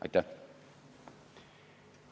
Aitäh!